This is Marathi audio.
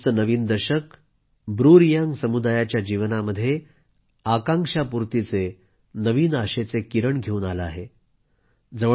अखेर 2020चे नवीन दशक ब्रू रियांग समुदायाच्या जीवनामध्ये आकांक्षापूर्तीचे नवीन आशेचे किरण घेवून आले आहे